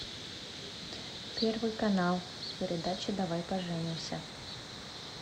первый канал передача давай поженимся